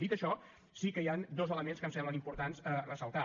dit això sí que hi han dos elements que em sembla important ressaltar